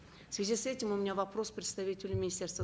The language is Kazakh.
в связи с этим у меня вопрос представителю министерства